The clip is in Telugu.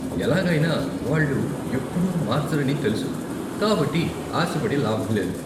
ఎలాగైనా, వాళ్ళు ఎప్పుడూ మార్చరని తెలుసు, కాబట్టి ఆశపడి లాభం లేదు.